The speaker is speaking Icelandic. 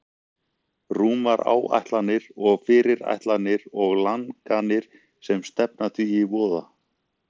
Rúmar áætlanir og fyrirætlanir og langanir sem stefna því í voða.